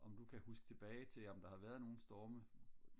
om du kan huske tilbage til om der har været nogle storme